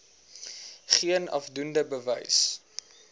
geen afdoende bewys